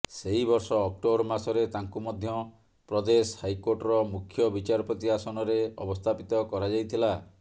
ସେହି ବର୍ଷ ଅକ୍ଟୋବର ମାସରେ ତାଙ୍କୁ ମଧ୍ୟ ପ୍ରଦେଶ ହାଇକୋର୍ଟର ମୁଖ୍ୟ ବିଚାରପତି ଆସନରେ ଅବସ୍ଥାପିତ କରାଯାଇଥିଲା